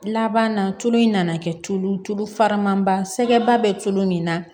Laban na tulu in nana kɛ tulu tulu faramanba sɛgɛ bɛ tulu min na